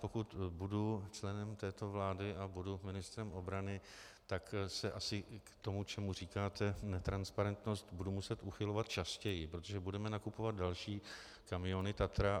Pokud budu členem této vlády a budu ministrem obrany, tak se asi k tomu, čemu říkáte netransparentnost, budu muset uchylovat častěji, protože budeme nakupovat další kamiony Tatra.